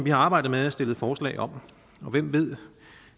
har arbejdet med og stillet forslag om hvem ved